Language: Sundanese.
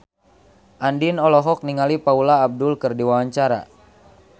Andien olohok ningali Paula Abdul keur diwawancara